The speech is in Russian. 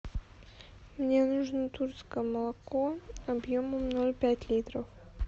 мне нужно тульское молоко объемом ноль пять литров